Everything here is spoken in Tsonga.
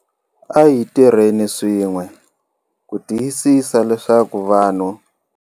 A hi tirheni swin'we ku tiyisisa leswaku vanhu.